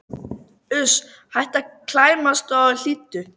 Uss, hættu að klæmast og hlýddu!